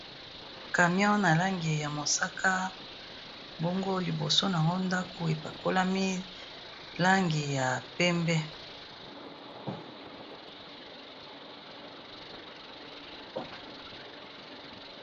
camion ya langi ya mosaka bongo liboso nango ndako epakolami na langi ya pembe